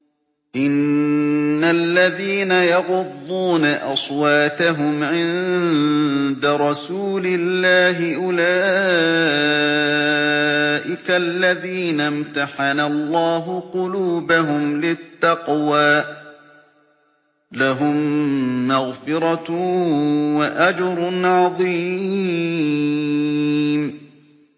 إِنَّ الَّذِينَ يَغُضُّونَ أَصْوَاتَهُمْ عِندَ رَسُولِ اللَّهِ أُولَٰئِكَ الَّذِينَ امْتَحَنَ اللَّهُ قُلُوبَهُمْ لِلتَّقْوَىٰ ۚ لَهُم مَّغْفِرَةٌ وَأَجْرٌ عَظِيمٌ